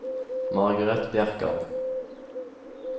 Margareth Bjerkan